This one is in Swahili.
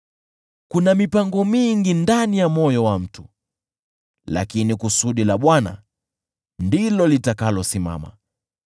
Kuna mipango mingi ndani ya moyo wa mtu, lakini kusudi la Bwana ndilo litakalosimama.